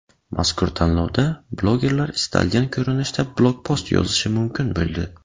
Mazkur tanlovda blogerlar istalgan ko‘rinishda blogpost yozishi mumkin bo‘ldi.